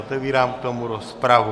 Otevírám k tomu rozpravu.